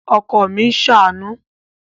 Ọkọ mi ń ṣàánú